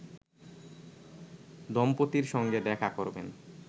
দম্পতির সঙ্গে দেখা করবেন